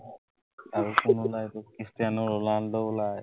ষ্টেন, Ronaldo ওলায়।